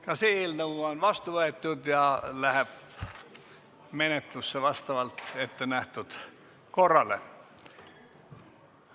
Ka see eelnõu on vastu võetud ja läheb menetlusse vastavalt ettenähtud korrale.